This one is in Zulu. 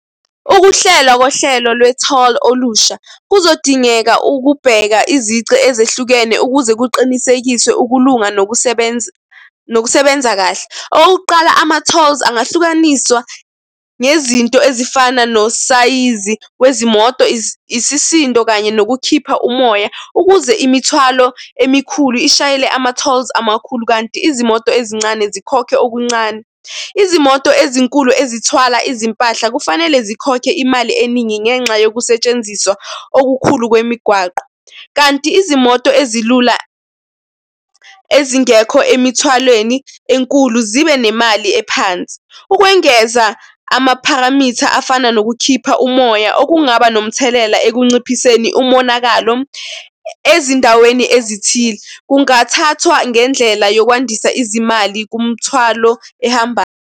Ukuhlela kohlelo le-toll olusha kuzodingeka ukubheka izici ezehlukene ukuze kuqinisekiswe ukulunga nokusebenza, nokusebenza kahle. Okuqala, ama-tolls angahlukaniswa ngezinto ezifana nosayizi wezimoto, isisindo kanye nokukhipha umoya ukuze imithwalo emikhulu ishayele ama-tolls amakhulu, kanti izimoto ezincane zikhokhe okuncane. Izimoto ezinkulu ezithwala izimpahla kufanele zikhokhe imali eningi ngenxa yokusetshenziswa okukhulu kwemigwaqo, kanti izimoto ezilula, ezingekho emithathweni enkulu zibe nemali ephansi. Ukwengeza amapharamitha afana nokukhipha umoya okungaba nomthelela ekunciphiseni umonakalo ezindaweni ezithile kungathathwa ngendlela yokwandisa izimali kumthwalo ehambayo.